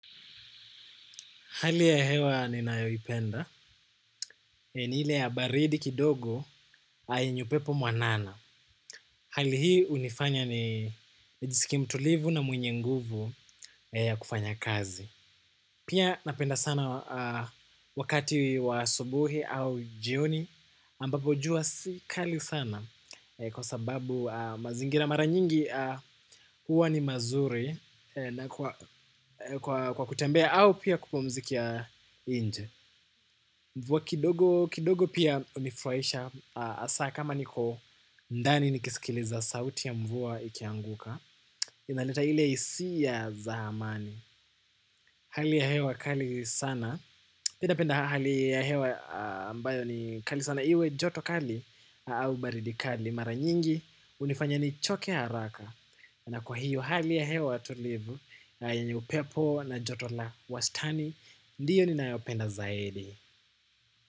Hali ya hewa ninayoipenda, ni ile ya baridi kidogo na yenye upepo mwanana. Hali hii hunifanya nijisikie mtulivu na mwenye nguvu ya kufanya kazi. Pia napenda sana wakati wa asubuhi au jioni ambapo jua si kali sana. Kwa sababu mazingira mara nyingi huwa ni mazuri na kwa kutembea au pia kupumzikia nje. Mvua kidogo pia hunifurahisha hasa kama niko ndani nikisikiliza sauti ya mvua ikianguka, inaleta ile hisia za amani. Hali ya hewa kali sana, pia napenda hali ya hewa ambayo ni kali sana iwe joto kali au baridi kali. Mara nyingi hunifanya nichoke haraka. Na kwa hiyo hali ya hewa tulivu na yenye upepo na joto la wastani ndiyo ninayopenda zaidi.